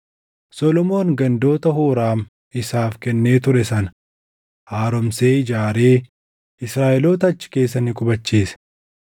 Solomoon gandoota Huuraam isaaf kennee ture sana haaromsee ijaaree Israaʼeloota achi keessa ni qubachiise.